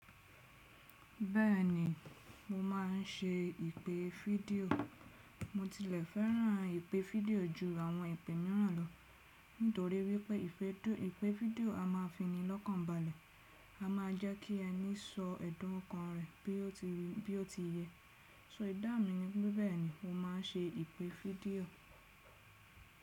Bẹ́ẹ̀ni, mo máà ń ṣe ìpè fídíò. Mo tilẹ̀ fẹ́ràn ìpè fídíò ju àwọn ìpè mìíràn lọ, nítorí wípé ìpè fídíò a máa fi ni lọ́kànbalẹ̀, a máa jẹ́ kí ẹni sọ ẹ̀dọ̀ kan rẹ̀ bí ó ti yẹ. So, idá mi ni pé bẹ́ẹ̀ni mo máa ń ṣe ìpè fídíò.